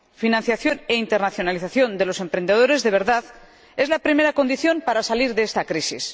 Financiación e internacionalización de los emprendedores de verdad es la primera condición para salir de esta crisis.